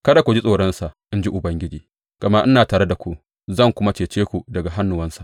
Kada ku ji tsoronsa, in ji Ubangiji, gama ina tare da ku zan kuma cece ku daga hannuwansa.